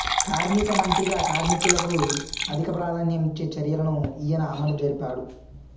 కార్మిక మంత్రిగా కార్మికులకు అధిక ప్రాధాన్యం ఇచ్చే చర్యలను ఈయన అమలు జరిపాడు